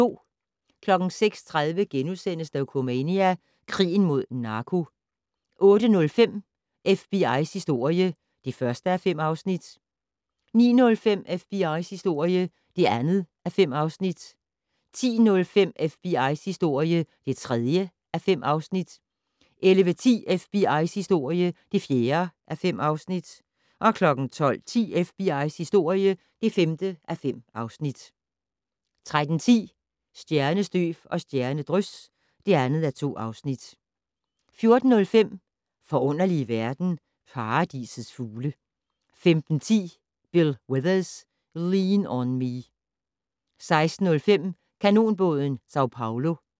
06:30: Dokumania: Krigen mod narko * 08:05: FBI's historie (1:5) 09:05: FBI's historie (2:5) 10:05: FBI's historie (3:5) 11:10: FBI's historie (4:5) 12:10: FBI's historie (5:5) 13:10: Stjernestøv og stjernedrys (2:2) 14:05: Forunderlige verden - Paradisets fugle 15:10: Bill Withers: "Lean on Me" 16:05: Kanonbåden San Pablo